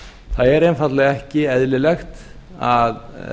það er einfaldlega ekki eðlilegt að